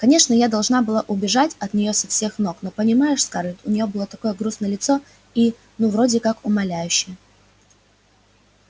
конечно я должна была бы убежать от неё со всех ног но понимаешь скарлетт у неё было такое грустное лицо и ну вроде как умоляющее